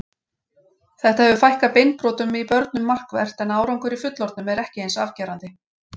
Þetta hefur fækkað beinbrotum í börnum markvert en árangur í fullorðnum er ekki eins afgerandi.